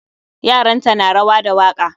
Yaranta na rawa da waka